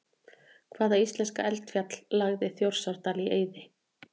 Hvaða íslenska eldfjall lagði Þjórsárdal í eyði?